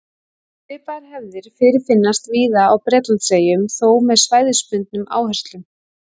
Svipaðar hefðir fyrirfinnast víða á Bretlandseyjum, þó með svæðisbundnum áherslum.